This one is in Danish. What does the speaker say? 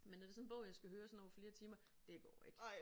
Men når det sådan en bog jeg skal høre sådan over flere timer det går ikke